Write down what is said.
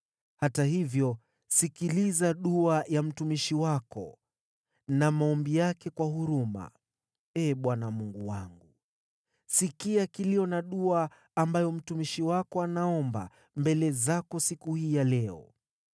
Hata hivyo sikiliza dua ya mtumishi wako na maombi yake kwa huruma, Ee Bwana Mungu wangu. Sikia kilio na dua ambayo mtumishi wako anaomba mbele zako siku hii ya leo.